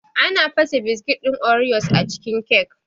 Ana fasa biskit ɗin oreos a cikin kyak